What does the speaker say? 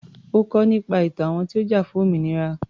Ó kọ́ nípa ìtàn àwọn tó ti jà fún òmìnira.